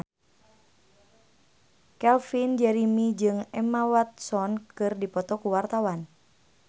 Calvin Jeremy jeung Emma Watson keur dipoto ku wartawan